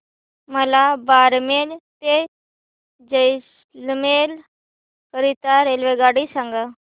मला बारमेर ते जैसलमेर करीता रेल्वेगाडी सांगा